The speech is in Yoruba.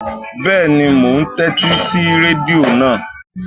Bẹ́ẹ̀ni, mò ún tẹ́tí sí rẹ́díò náà